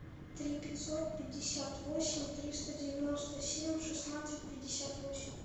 три пятьсот пятьдесят восемь триста девяносто семь шестнадцать пятьдесят восемь